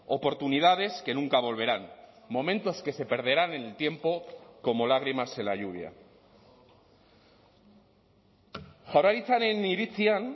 oportunidades que nunca volverán momentos que se perderán en el tiempo como lágrimas en la lluvia jaurlaritzaren iritzian